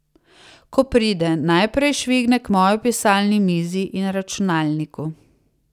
Ko pride, najprej švigne k moji pisalni mizi in računalniku.